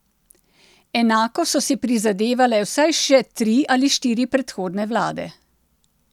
Enako so si prizadevale vsaj še tri ali štiri predhodne vlade.